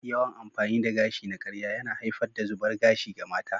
Yawan amfani da gashi na karya yana haifar da zubar gashi ga mata.